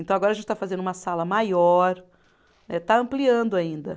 Então agora a gente está fazendo uma sala maior, eh está ampliando ainda.